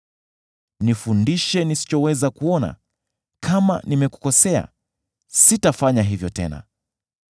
Nifundishe nisichoweza kuona; kama nimekukosea, sitafanya hivyo tena.’